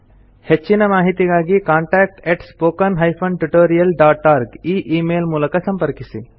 ಹೆಚ್ಚಿನ ಮಾಹಿತಿಗಾಗಿ contact spoken tutorialorg ಈ ಈ ಮೇಲ್ ಮೂಲಕ ಸಂಪರ್ಕಿಸಿ